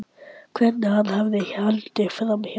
Hvernig hann hafði haldið framhjá mér.